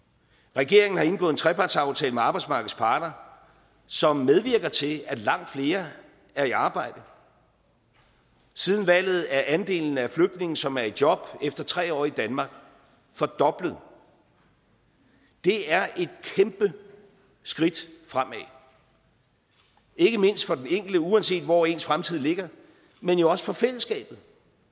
regeringen har indgået en trepartsaftale med arbejdsmarkedets parter som medvirker til at langt flere er i arbejde siden valget er andelen af flygtninge som er i job efter tre år i danmark fordoblet det er et kæmpe skridt fremad ikke mindst for den enkelte uanset hvor ens fremtid ligger men jo også for fællesskabet